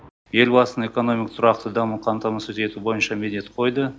елбасын экономика тұрақты даму қамтамасыз бойынша міндет қойды